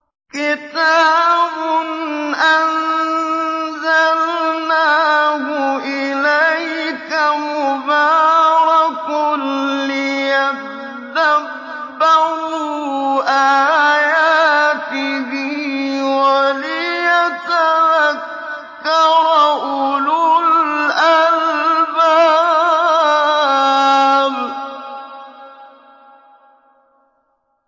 كِتَابٌ أَنزَلْنَاهُ إِلَيْكَ مُبَارَكٌ لِّيَدَّبَّرُوا آيَاتِهِ وَلِيَتَذَكَّرَ أُولُو الْأَلْبَابِ